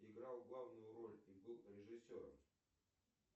играл главную роль и был режиссером